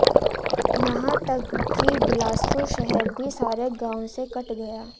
यहां तक कि बिलासपुर शहर भी सारे गांवों से कट गया